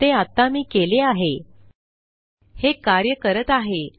ते आता मी केले आहे